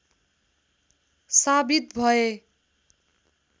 साबित भए